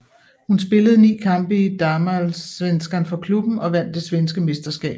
Hun spillede ni kampe i Damallsvenskan for klubben og vandt det svenske mesterskab